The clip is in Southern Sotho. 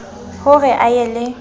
ho re a ye le